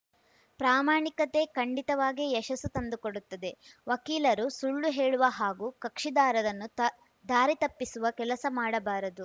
ಪ್ರಾಮಾಣಿಕತೆ ಖಂಡಿತವಾಗಿ ಯಶಸ್ಸು ತಂದುಕೊಡುತ್ತದೆ ವಕೀಲರು ಸುಳ್ಳು ಹೇಳುವ ಹಾಗೂ ಕಕ್ಷಿದಾರರನ್ನು ತ ದಾರಿ ತಪ್ಪಿಸುವ ಕೆಲಸ ಮಾಡಬಾರದು